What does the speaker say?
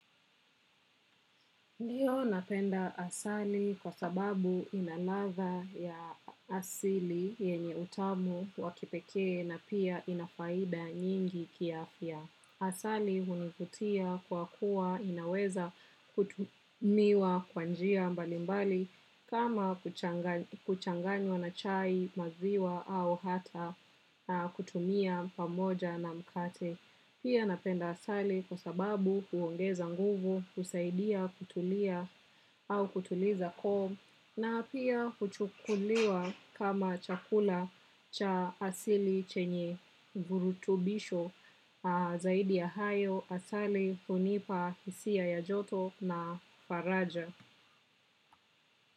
Ndiyo napenda asali kwa sababu ina ladha ya asili yenye utamu wa kipekee na pia ina faida nyingi kiafya. Asali hunivutia kwa kuwa inaweza kutumiwa kwa njia mbalimbali kama kuchanganywa na chai, maziwa au hata kutumia pamoja na mkate. Pia napenda asali kwa sababu huongeza nguvu, husaidia kutulia au kutuliza koo na pia kuchukuliwa kama chakula cha asili chenye virutubisho. Zaidi ya hayo asali hunipa hisia ya joto na faraja.